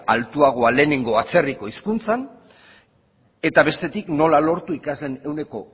altuagoa lehenengo atzerriko hizkuntzan eta bestetik nola lortu ikasleen ehuneko